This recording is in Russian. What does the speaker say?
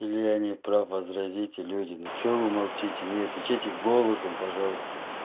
или я не прав возразите люди ну чё вы молчите мне отвечайте голосом пожалуйста